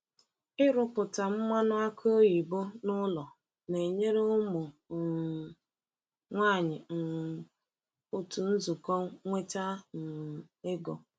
Ịrụpụta mmanụ aki oyibo n’ụlọ na-enyere ụmụ um nwanyị um otu nzukọ nweta um ego.